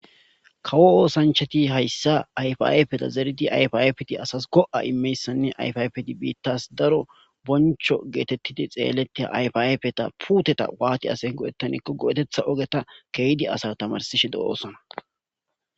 Kawo osanchati ha issa ayfe ayfera zeridi ayfe ayfeti asasiko go'a imiyanne ayfe ayfeti bettaas daro boncho getetiti tseelitte ayfe ayfeta puteta waatdi go'ettanakko geteta keehidi asa tamarsishe de'osona.